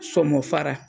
Sɔnma fara